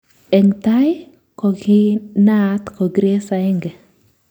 Eng tai kokinaat ko Grace 1